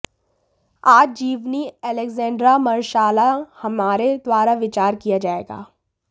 आज जीवनी एलेक्ज़ैंड्रा मरशाला हमारे द्वारा विचार किया जाएगा